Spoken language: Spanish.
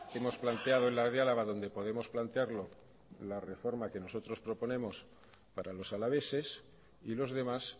hemos planteado en la de álava donde podemos plantearlo la reforma que nosotros proponemos para los alaveses y los demás